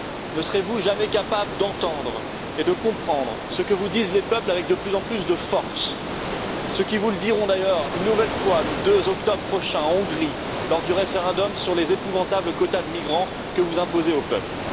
Ne serez vous jamais capables d'entendre et de comprendre ce que vous disent les peuples avec de plus en plus de force ce qu'ils vous diront, d'ailleurs, une nouvelle fois, le 2 octobre prochain en Hongrie lors du référendum sur les épouvantables quotas de migrants que vous imposez au peuple?